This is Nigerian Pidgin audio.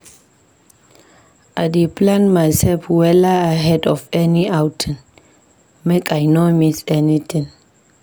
I dey plan mysef wella ahead of any outing, make I no miss anytin.